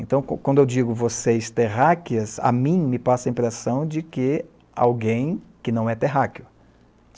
Então, quando eu digo vocês terráqueas, a mim me passa a impressão de que alguém que não é terráqueo.